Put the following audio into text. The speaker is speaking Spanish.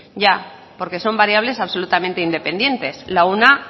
ya porque son variables absolutamente independientes la una